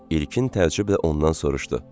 İlkin təəccüblə ondan soruşdu.